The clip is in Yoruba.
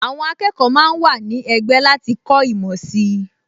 Àwọn akẹ́kọ̀ọ máa ń wà ní ẹgbẹ́ láti kọ́ ìmọ̀ sí i